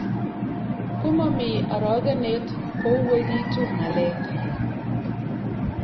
komomi orogenet kouwegitu ng'alek